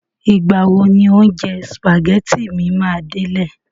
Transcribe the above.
Ìgbà wo ni oúnjẹ sìpàgẹ́tì mi máa délẹ̀?